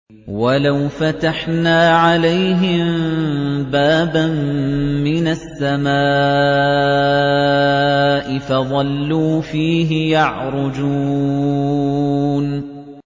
وَلَوْ فَتَحْنَا عَلَيْهِم بَابًا مِّنَ السَّمَاءِ فَظَلُّوا فِيهِ يَعْرُجُونَ